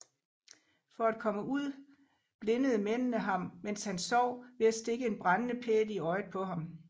For at komme ud blindede mændene ham mens han sov ved at stikke en brændende pæl i øjet på ham